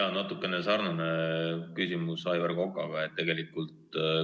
Mul on natukene sarnane küsimus kui Aivar Kokal.